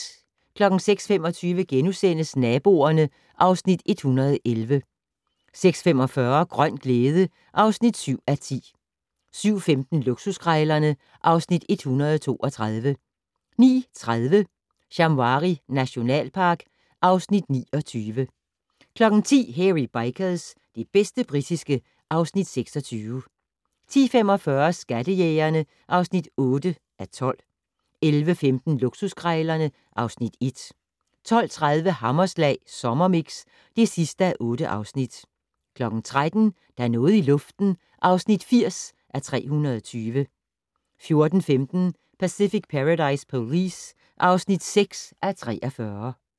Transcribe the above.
06:25: Naboerne (Afs. 111)* 06:45: Grøn glæde (7:10) 07:15: Luksuskrejlerne (Afs. 132) 09:30: Shamwari nationalpark (Afs. 29) 10:00: Hairy Bikers - det bedste britiske (Afs. 26) 10:45: Skattejægerne (8:12) 11:15: Luksuskrejlerne (Afs. 1) 12:30: Hammerslag Sommermix (8:8) 13:00: Der er noget i luften (80:320) 14:15: Pacific Paradise Police (6:43)